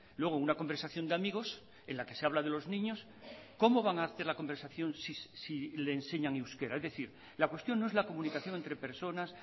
luego una conversación de amigos en la que se habla de los niños cómo van a hacer la conversación si le enseñan euskera es decir la cuestión no es la comunicación entre personas